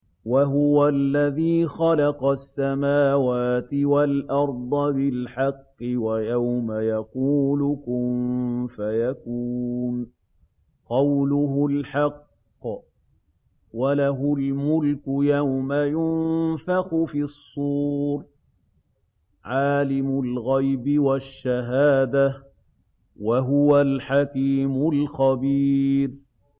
وَهُوَ الَّذِي خَلَقَ السَّمَاوَاتِ وَالْأَرْضَ بِالْحَقِّ ۖ وَيَوْمَ يَقُولُ كُن فَيَكُونُ ۚ قَوْلُهُ الْحَقُّ ۚ وَلَهُ الْمُلْكُ يَوْمَ يُنفَخُ فِي الصُّورِ ۚ عَالِمُ الْغَيْبِ وَالشَّهَادَةِ ۚ وَهُوَ الْحَكِيمُ الْخَبِيرُ